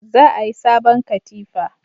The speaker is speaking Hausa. Za a yi sabon katifa